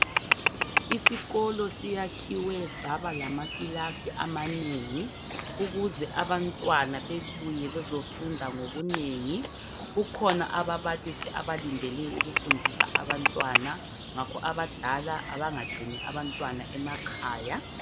Isikolo siyakhiwe saba lamakilasi amanengi ukuze abantwana bebuye bezofunda ngobunengi, kukhona ababalisi abalindele ukufundisa abantwana, ngakho abadala abangagcini abantwana ekhaya.